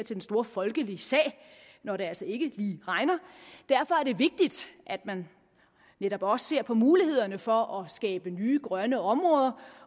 den store folkelige sag når det altså ikke lige regner derfor er det vigtigt at man netop også ser på mulighederne for at skabe nye grønne områder